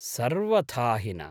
सर्वथा हि न।